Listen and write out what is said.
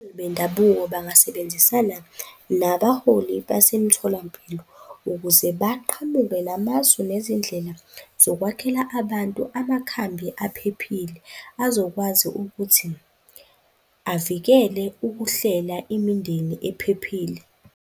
bendabuko bangasebenzisana nabaholi basemtholampilo ukuze baqhamuke namasu nezindlela zokwakhela abantu amakhambi aphephile azokwazi ukuthi avikele ukuhlela imindeni ephephile.